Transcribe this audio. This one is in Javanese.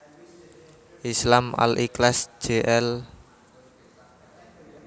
Islam Al Ikhlas Jl